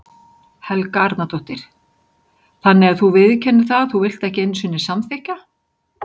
Helga Arnardóttir: Þannig að þú viðurkennir það að þú vilt ekki einu sinni samþykkja?